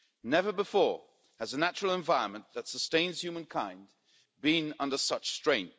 Never before has a natural environment that sustains humankind been under such strain.